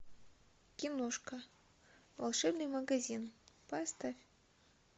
киношка волшебный магазин поставь